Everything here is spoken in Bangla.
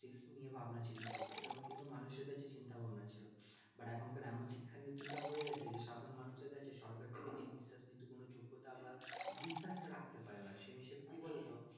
নিয়ে ভাবনা চিন্তা করবো এরকম কিন্তু মানুষের কাছে চিন্তা ভাবনা ছিল but এখন কার এমন শিক্ষানীতি টা হয়ে গেছে যে সাধারণ মানুষের কাছে সরকার থেকে কিন্তু বিশেষ কোনো যোগ্যতা বা বিশ্বাস টা রাখতে পারেনা সে হিসাবে কি বলত